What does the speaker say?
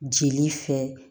Jeli fɛ